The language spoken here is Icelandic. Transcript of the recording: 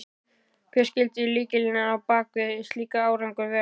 Hver skyldi lykillinn á bak við slíkan árangur vera?